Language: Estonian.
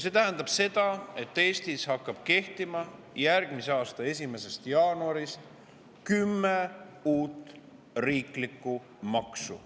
See tähendab seda, et Eestis hakkab järgmise aasta 1. jaanuarist kehtima kümme uut riiklikku maksu.